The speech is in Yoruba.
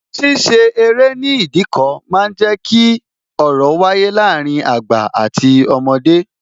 Ṣíṣe eré ní Ìdíkọ̀ máa ń jẹ ki ọ̀rọ̀ wáyé láàárín àgbà àti ọmọdé